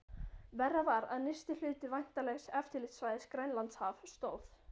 Verra var, að nyrsti hluti væntanlegs eftirlitssvæðis, Grænlandshaf, stóð